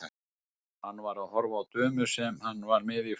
Hann var að horfa á dömu sem hann var með í fanginu.